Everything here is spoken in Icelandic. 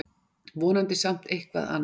Vonandi samt eitthvað ann